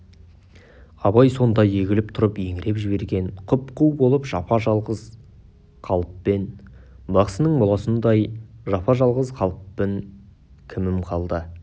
абай сонда егіліп тұрып еңіреп жіберген құп-қу болып жапа-жалғыз қалыппын бақсының моласындай жапа-жалғыз қалыппын кімім қалды